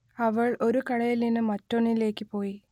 അവൾ ഒരു കടയിൽ നിന്ന് മറ്റൊന്നിലേക്ക് പോയി